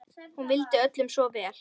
Hún vildi öllum svo vel.